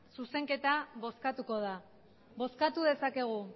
zuzenketa bozkatuko da bozkatu dezakegu